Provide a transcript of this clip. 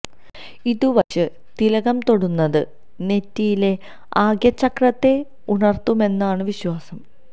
ഇതു വച്ച് തിലകം തൊടുന്നത് നെറ്റിയിലെ ആഗ്യ ചക്രത്തെ ഉണര്ത്തുമെന്നാണ് വിശ്വാസം